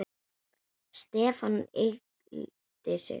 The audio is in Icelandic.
Stefán yggldi sig.